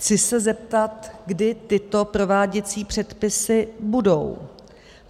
Chci se zeptat, kdy tyto prováděcí předpisy budou.